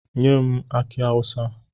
Nye m aki awusa!